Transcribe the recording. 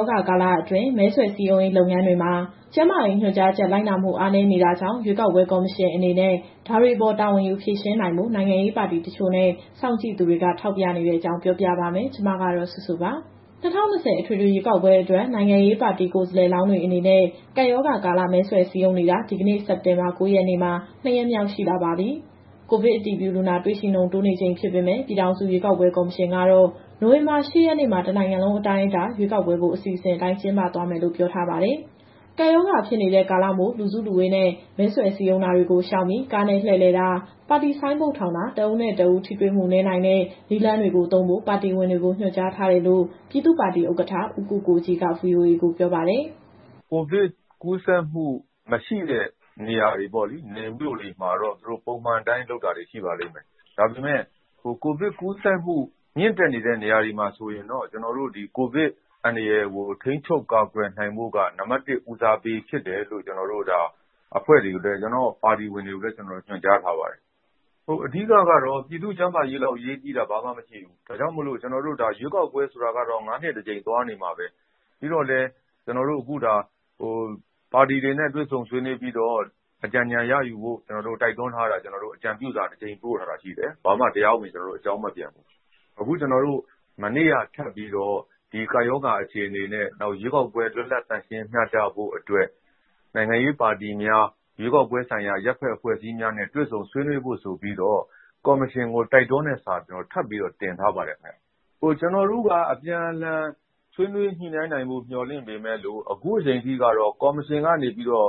ောဂါကာလတွင်း မဲဆွယ်စည်းရုံးရေးလုပ်ငန်းတွေမှာ ကျန်းမာရေးညွှန်ကြားချက် လိုက်နာမှု အားနည်းနေတာကြောင့် ရွေးကောက်ပွဲကော်မရှင်အနေနဲ့ ဒါတွေအပေါ်တာဝန်ယူဖြေရှင်းနိုင်ဖို့ နိုင်ငံရေးပါတီတချို့နဲ့ စောင့်ကြည့်သူတွေက ထောက်ပြနေတဲ့အကြောင်း ပြောပြပေးပါမယ်။ ဒီသတင်းကို ဗွီအိုအေမြန်မာပိုင်း သတင်းထောက်စုစုက တင်ဆက်ပေးမှာပါ။ ၂၀၂၀ အထွေထွေရွေးကောက်ပွဲအတွက် နိုင်ငံရေးပါတီ ကိုယ်စားလှယ်လောင်းတွေအနေနဲ့ ကပ်ရောဂါကာလ မဲဆွယ်စည်းရုံးနေတာ ဒီကနေ့ စက်တင်ဘာ ၉ ရက်မှာ ၂ ရက်မြောက်ရှိလာပါပြီ။ ကိုဗစ်အတည်ပြုလူနာ တွေ့ရှိနှုန်း တိုးနေချိန်ဖြစ်ပေမဲ့ ပြည်ထောင်စုရွေးကောက်ပွဲကော်မရှင်ကတော့ နိုဝင်ဘာ ၈ ရက်နေ့မှာ တနိုင်ငံလုံးအတိုင်းအတာ ရွေးကောက်ပွဲကို အစီအစဉ်အတိုင်း ကျင်းပသွားမယ်လို့ ပြောထားပါတယ်။ ကပ်ရောဂါဖြစ်နေတဲ့ ကာလမို့ လူစုလူဝေးနဲ့ မဲဆွယ်စည်းရုံးတာတွေကို ရှောင်ပြီး ကားနဲ့လှည့်လည်တာ ပါတီဆိုင်းဘုတ်ထောင်တာ၊ တဦးနဲ့တဦး ထိတွေ့မှုနည်းနိုင်တဲ့ နည်းလမ်းတွေကိုသုံးဖို့ ပါတီဝင်တွေကို ညွှန်ကြားထားတယ်လို့ ပြည်သူ့ပါတီဥက္ကဋ္ဌ ဦးကိုကိုကြီးက VOA ကိုပြောပါတယ်။ “ကိုဗစ်ကူးစက်မှု မရှိတဲ့နေရာတွေ နယ်မြို့တွေမှာတော့ ပုံမှန်အတိုင်းလုပ်တာတွေ ရှိပါလိမ့်မယ်။ ဒါပေမယ့် ကိုဗစ်ကူးစက်မှုမြင့်တက်နေတဲ့ နေရာတွေမှာဆိုရင်တော့ ကိုဗစ်အန္တရာယ်ကိုထိန်းချုပ် ကာကွယ်နိုင်ဖို့က နံပါတ် ၁ ဦးစားပေးဖြစ်တယ်လို့ ကျနော့်ပါတီဝင်တွေကိုလည်း ညွှန်ကြားထားပါတယ်။ အဓိကကတော့ ပြည်သူ့ကျန်းမာရေးလောက်အရေးကြီးတာ ဘာမှမရှိဘူး။ ရွေးကောက်ပွဲဆိုတာကတော့ ၅နှစ် ၁ကြိမ် သွားနေမှာပဲ။ ပြီးတော့လည်း အခုပါတီတွေနဲ့ တွေ့ဆုံဆွေးနွေးပြီးတော့ အကြံဉာဏ်ရယူဖို့ တိုက်တွန်းထားတာ အကြံပြုစာ တကြိမ်ပို့ထားတာရှိတယ်။ ဘာမှ တရားဝင် ကျနော်တို့ကို အကြောင်းမပြန်ဘူး။ အခုကျနော်တို့ မနေ့ကထပ်ပြီးတော့ ဒီကပ်ရောဂါအခြေအနေနဲ့ နောက်ရွေးကောက်ပွဲ လွတ်လပ်သန့်ရှင်း မျှတဖို့အတွက် နိုင်ငံရေးပါတီများ၊ ရွေးကောက်ပွဲဆိုင်ရာအရပ်ဘက်အဖွဲ့အစည်းများနဲ့ တွေ့ဆုံဆွေးနွေးဖို့ဆိုပြီးတော့ ကော်မရှင်ကို တိုက်တွန်းတဲ့စာ ထပ်ပြီးတော့တင်ထားပါတယ်ခင်ဗျ။ ကျနော်တို့က အပြန်အလှန်ဆွေးနွေး ညှိနှိုင်းနိုင်ဖို့ မျှော်လင့်ပေမယ့်လို့ အခုချိန်ထိကတော့ ကော်မရှင်ကနေပြီးတော့